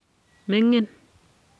mingin.